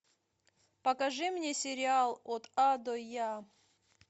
покажи мне сериал от а до я